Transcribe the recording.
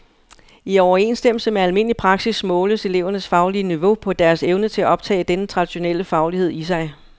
I overensstemmelse med almindelig praksis måles elevernes faglige niveau på deres evne til at optage denne traditionelle faglighed i sig.